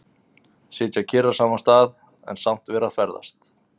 Sitja kyrr á sama stað, en samt að vera að ferðast.